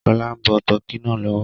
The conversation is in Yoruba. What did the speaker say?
Ṣọlá ń bọ tọ́kì náà lọ́wọ́